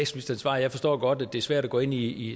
svar jeg forstår godt at det er svært at gå ind i